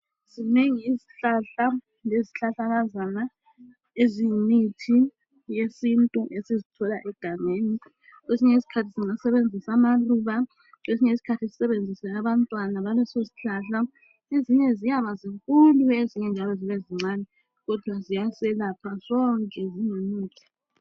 Zingengi izihlahla lezihlahlakazana eziyimithi yesintu esizithola egangeni. Kwesinye isikhathi singasebenzisa amaluba kwesinye isikhathi sisebenzise abantwana baleso sihlahla. Ezinye ziyazibankulu ezinye njalo zibe zincane kodwa ziyaselepha zonke ziyimithi.